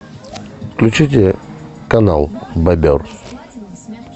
включите канал бобер